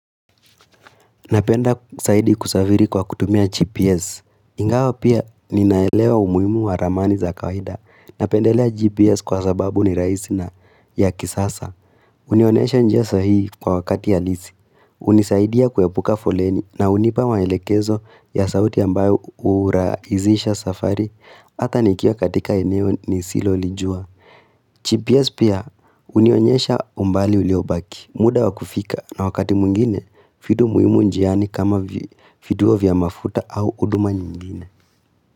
Napenda saidi kusaviri kwa kutumia GPS, ingawa pia ninaelewa umuimu wa ramani za kawaida, napendelea GPS kwa sababu ni raisi na ya kisasa, unionesha njia sahii kwa wakati halisi, unisaidia kuepuka foleni na unipa maelekezo ya sauti ambayo uraizisha safari, hata nikia katika eneo ni silo lijua. GPS pia unionyesha umbali uleobaki muda wa kufika na wakati mwingine vitu muhimu njiani kama vitiuo vya mafuta au huduma nyingine.